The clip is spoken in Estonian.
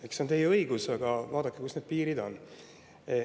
Eks see on teie õigus, aga vaadake ka, kus need piirid on.